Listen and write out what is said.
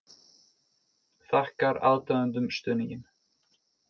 Þakkar aðdáendum stuðninginn